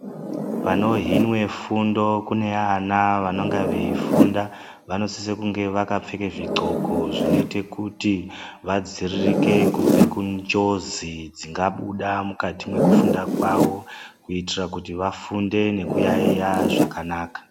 Panohinwe fundo kune vana vanenge veifunda vanositse kunge vakapfeke zvidhloko zvinoita kuti vadziiririke kubva kunjodzi dzingabuda mukati mwekufunda kwavo kuitira kuti vafunde nekuyaiya zvakanaka